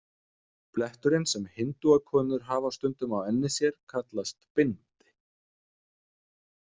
Bletturinn sem hindúakonur hafa stundum á enni sér kallast bindi.